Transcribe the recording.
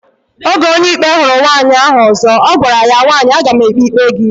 Oge Onyeikpe huru nwaanyi ozo, ogwara ya, nwaanyi agam ekpe ikpe gi